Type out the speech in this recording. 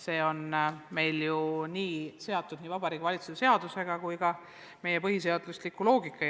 See on meil nii seatud Vabariigi Valitsuse seadusega ja selline on ka meie põhiseaduse loogika.